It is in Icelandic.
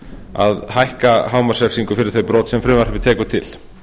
að hækka hámarksrefsingu fyrir þau brot sem frumvarpið tekur til